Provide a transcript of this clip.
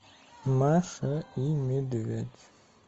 маша и медведь